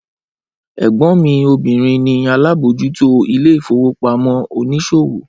Ẹgbọn mi obìrin ni alábòójútó ilé ìfowópamọ́ oníṣòwò